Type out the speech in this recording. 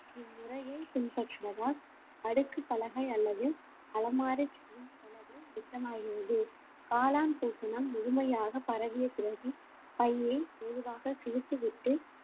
இம்முறையை பின்பற்றுவதால் அடுக்கு பலகை அல்லது அலமார செய்யும் செலவு மிச்சமாகிறது காளான் பூசணம் முழுமையாக பரவிய பிறகு பையை மெதுவாக கிழித்துவிட்டு